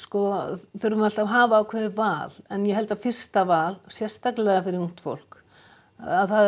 þurfum við alltaf að hafa ákveðið val en ég held að fyrsta val sérstaklega fyrir ungt fólk að